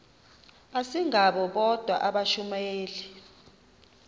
asingabo bodwa abashumayeli